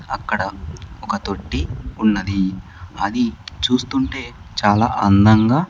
అక్కడ ఒక తొట్టి ఉన్నది అది చూస్తుంటే చాలా అందంగా.